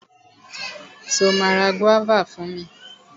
Ṣo ma ra gúọ́và fún mi?